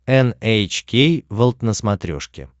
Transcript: эн эйч кей волд на смотрешке